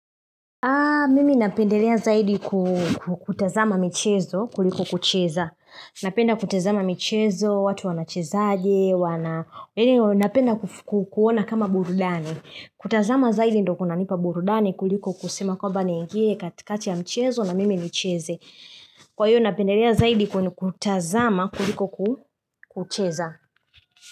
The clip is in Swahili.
Mimi napendelea zaidi kutazama michezo kuliko kucheza. Napenda kutazama michezo, watu wanachezaje, wana Napenda kuuona kama burudani. Kutazama zaidi ndio kunanipa burudani kuliko kusema kwamba niingie katikati ya mchezo na mimi nichezo. Kwa hivyo napendelea zaidi kwenye kutazama kuliko kucheza.